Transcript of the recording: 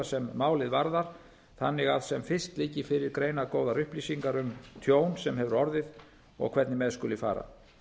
sem málið varðar þannig að sem fyrst liggi fyrir greinargóðar upplýsingar um tjón sem hefur orðið og hvernig með skuli fara